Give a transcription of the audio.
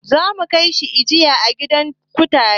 Za su kai shi jinya a gidan kutare.